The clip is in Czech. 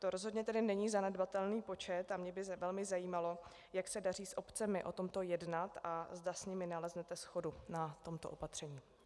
To rozhodně tedy není zanedbatelný počet a mě by velmi zajímalo, jak se daří s obcemi o tomto jednat a zda s nimi naleznete shodu na tomto opatření.